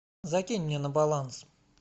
закинь мне на баланс